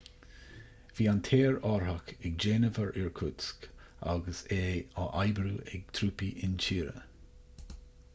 bhí an t-aerárthach ag déanamh ar irkutsk agus é á oibriú ag trúpaí intíre